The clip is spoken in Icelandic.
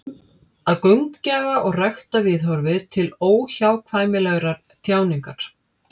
Að gaumgæfa og rækta viðhorfið til óhjákvæmilegrar þjáningar.